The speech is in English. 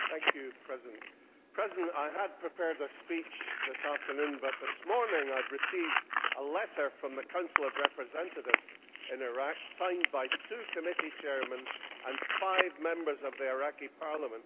Mr President, I had prepared a speech this afternoon, but this morning I received a letter from the Council of Representatives in Iraq, signed by two committee chairmen and five Members of the Iraqi Parliament.